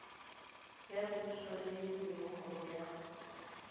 ya poso le nomoro ya